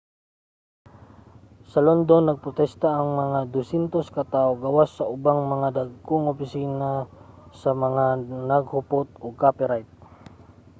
sa london nagprostesta ang mga 200 ka tawo gawas sa ubang mga dagkong opisina sa mga naghupot og copyright